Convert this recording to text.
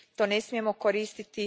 To ne smijemo koristiti.